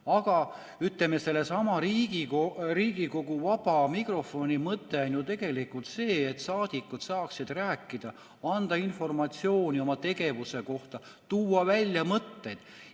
Aga sellesama Riigikogu vaba mikrofoni mõte on ju tegelikult see, et saadikud saaksid rääkida, anda informatsiooni oma tegevuse kohta, tuua välja mõtteid.